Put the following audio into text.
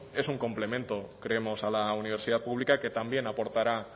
es un complemento creemos a la universidad pública que también aportará